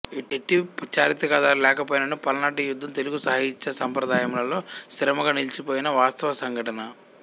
ఎట్టి చారిత్రకాధారాలు లేకపోయిననూ పల్నాటి యుద్ధం తెలుగు సాహిత్య సంప్రదాయములలో స్థిరముగా నిలిచిపోయిన వాస్తవ సంఘటన